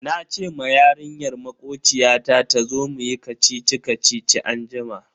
Nace ma yarinyar makociyata tazo muyi kacici-kacici anjima.